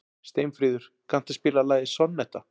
Steinfríður, kanntu að spila lagið „Sonnetta“?